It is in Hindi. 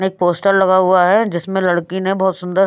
एक पोस्टर लगा हुआ है जिसमें लड़की ने बहुत सुंदर--